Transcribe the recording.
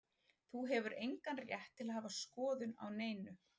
Þú hefur engan rétt til að hafa skoðun á neinu.